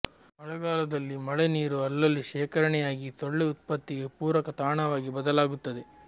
ಮಳೆಗಾಲದಲ್ಲಿ ಮಳೆ ನೀರು ಅಲ್ಲಲ್ಲಿ ಶೇಖರಣೆಯಾಗಿ ಸೊಳ್ಳೆ ಉತ್ಪತ್ತಿಗೆ ಪೂರಕ ತಾಣವಾಗಿ ಬದಲಾಗುತ್ತದೆ